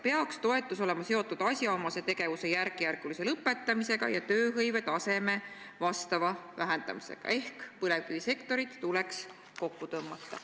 peaks toetus olema seotud asjaomase tegevuse järkjärgulise lõpetamisega ja tööhõive taseme vastava vähendamisega" ehk põlevkivisektorit tuleks kokku tõmmata.